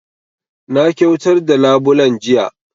Na kyautar da labulen jiya